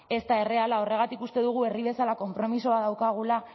ez da erreala horregatik uste dugu herri bezala konpromiso bat daukagula